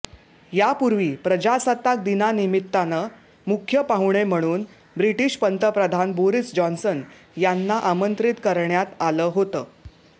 यापूर्वी प्रजासत्ताक दिनानिमित्तानं मुख्य पाहुणे म्हणून ब्रिटिश पंतप्रधान बोरिस जॉन्सन यांना आमंत्रित करण्यात आलं होतं